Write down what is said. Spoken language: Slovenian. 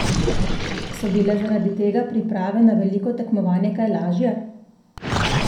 So bile zaradi tega priprave na veliko tekmovanje kaj lažje?